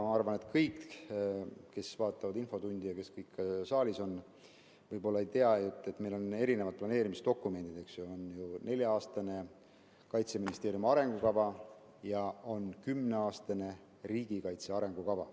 Ma arvan, et kõik, kes vaatavad infotundi või on saalis, võib-olla ei tea, et meil on erinevad planeerimisdokumendid: on nelja-aastane Kaitseministeeriumi arengukava ja on kümneaastane riigikaitse arengukava.